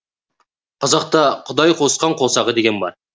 қазақта құдай қосқан қосағы деген бар